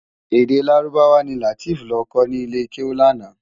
Èdè Lárúbáwá ni Lateef lò kò ni ilé kéwú làná